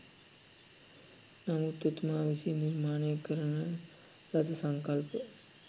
නමුත් එතුමා විසින් නිර්මාණය කරන ලද සංකල්ප